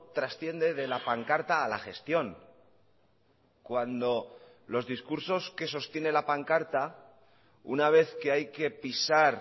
trasciende de la pancarta a la gestión cuando los discursos que sostiene la pancarta una vez que hay que pisar